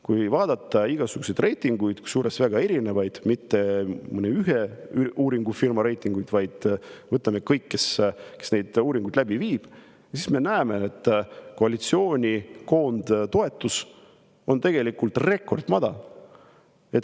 Kui vaadata igasuguseid reitinguid, kusjuures väga erinevaid, mitte mõne ühe uuringufirma koostatud reitinguid, vaid kõigi omasid, kes neid uuringuid läbi viivad, siis me näeme, et koalitsiooni koondtoetus on tegelikult rekordmadal.